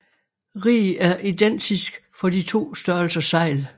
Rig er identisk for de to størrelser sejl